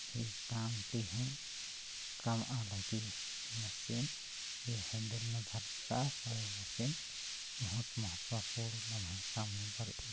ए काम तेहु काम लग्गी एमा से हेंडल नु धारचका रई मर्चेन बहूत महत्वपूर्ण महत्तम एक --